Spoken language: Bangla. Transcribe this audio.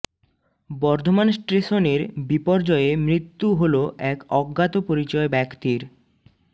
বর্ধমান স্টেশনের বিপর্যয়ে মৃত্যু হল এক অজ্ঞাত পরিচয় ব্যাক্তির